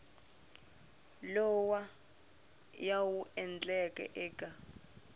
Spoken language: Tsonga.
lawa ya wu endlaka eka